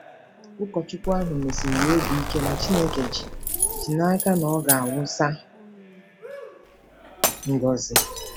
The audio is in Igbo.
Ụkọchukwu ahụ mesiri ya obi ike na Chineke ji ji n'aka na ọ ga-awụsa ngọzi.